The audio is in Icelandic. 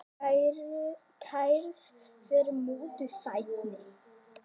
Kærð fyrir mútuþægni